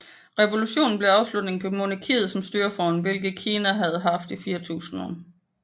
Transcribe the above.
Revolutionen blev afslutningen på monarkiet som styreform hvilket Kina havde haft i 4000 år